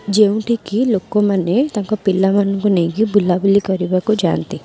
ଯେଉଁଠିକି ଲୋକମାନେ ତାଙ୍କ ପିଲାମାନଙ୍କୁ ନେଇକି ବୁଲାବୁଲି କରିବାକୁ ଯାଆନ୍ତି।